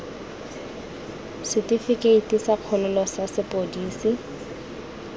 setifikeite sa kgololo sa sepodisi